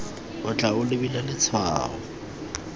o tla o lebile letshwao